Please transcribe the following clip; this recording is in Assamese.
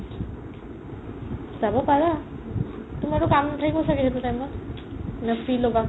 যাব পাৰা তুমাৰটো কাম নাথাকিব চাগে সেইটো time ত নে free ল'বা ?